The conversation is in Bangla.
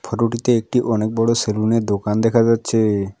ফটোটিতে একটি অনেক বড়ো সেলুনের দোকান দেখা যাচ্ছে।